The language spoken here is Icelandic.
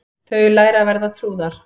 Þau læra að vera trúðar